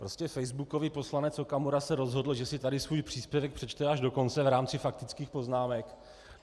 Prostě facebookový poslanec Okamura se rozhodl, že si tady svůj příspěvek přečte až do konce v rámci faktických poznámek.